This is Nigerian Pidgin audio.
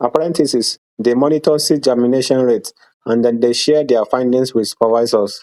apprentices dey monitor seed germination rate and dem dey share their findings with supervisors